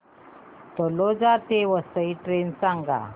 तळोजा ते वसई ट्रेन सांग